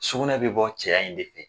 Sugunɛ bɛ bɔ cɛ in de fɛ.